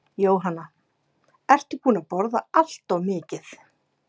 Jóhanna: Ertu búinn að borða allt of mikið?